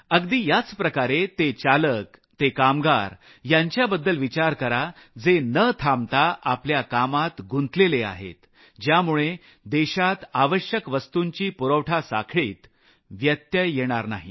अगदी याच प्रकारे ते चालक ते कामगार यांच्याबद्दल विचार करा जे न थांबता आपल्या कामात गुंतलेले आहेत ज्यामुळे देशात आवश्यक वस्तूंच्या पुरवठा साखळीत व्यत्यय येणार नाही